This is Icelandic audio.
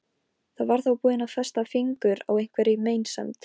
Ég var þá búin að festa fingur á einhverri meinsemd.